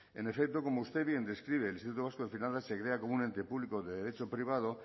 en efecto como usted bien describe el instituto vasco de finanzas se crea como un ente público de derecho privado